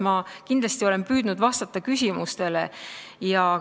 Ma olen kindlasti püüdnud vastata küsimustele.